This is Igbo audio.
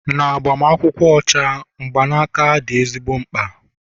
na agbamakwụkwọ ọcha, mgbanaka dị ezigbo mkpa